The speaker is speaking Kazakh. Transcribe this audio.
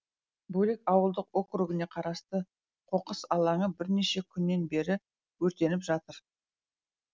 бөлек ауылдық округіне қарасты қоқыс алаңы бірнеше күннен бері өртеніп жатыр